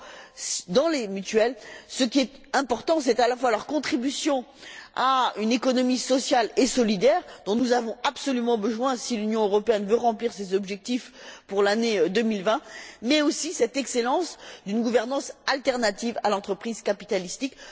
Or, dans les mutuelles, ce qui est important, c'est à la fois leur contribution à une économie sociale et solidaire, dont nous avons absolument besoin si l'Union européenne veut remplir ses objectifs pour l'année 2020, mais aussi cette excellence d'une gouvernance autre que celle de l'entreprise capitalistique.